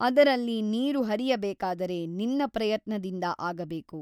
ಅದರಲ್ಲಿ ನೀರು ಹರಿಯಬೇಕಾದರೆ ನಿನ್ನ ಪ್ರಯತ್ನದಿಂದ ಆಗಬೇಕು.